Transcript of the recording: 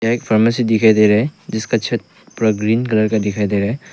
एक फार्मेसी दिखाई दे रहा है जिसका छत पूरा ग्रीन कलर का दिखाई दे रहा है।